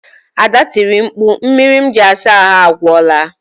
Ada tiri mkpu, mmiri m ji asa ahụ agwụla